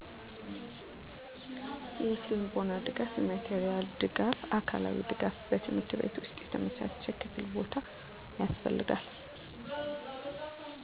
የስነልቦና ድጋፍ የማቴሪያል ድጋፍ አካላዊ ድጋፍ በትምህርት ቤት ውስጥ የተመቻቸ ክፍል ቦታ ያስፈልጋል